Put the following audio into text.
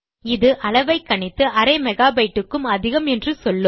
இது அளவை கணித்து அரை மெகாபைட்டு க்கும் அதிகம் என்று சொல்லும்